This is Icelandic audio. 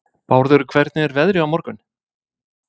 Bárður, hvernig er veðrið á morgun?